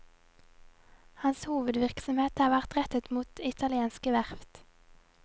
Hans hovedvirksomhet har vært rettet mot italienske verft.